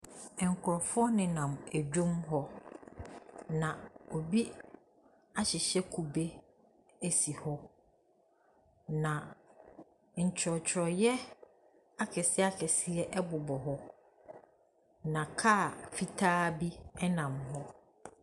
Nkurɔfoɔ nenam dwam hɔ. Na obi ahyehyɛ kube si hɔ. Na ntworɔtworeɛ akɛseɛ bobɔ hɔ. Na kaa fitaa bi nam hɔ.